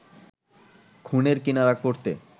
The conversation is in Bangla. খুনের কিনারা করতে